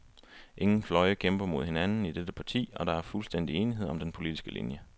Ingen fløje kæmper mod hinanden i dette parti, og der er fuldstændig enighed om den politiske linje.